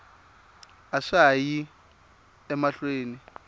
a swa ha yi emahlweni